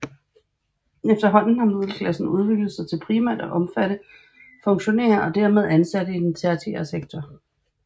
Efterhånden har middelklassen udviklet sig til primært at omfatte funktionærer og dermed ansatte i den tertiære sektor